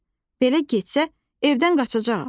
Belə getsə, evdən qaçacağam.